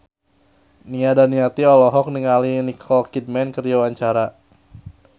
Nia Daniati olohok ningali Nicole Kidman keur diwawancara